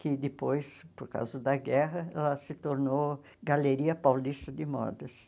Que depois, por causa da guerra, ela se tornou Galeria Paulista de Modas.